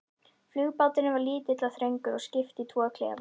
Flugbáturinn var lítill og þröngur og skipt í tvo klefa.